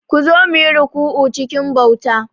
Ku zo, mu yi ruku'u cikin bauta.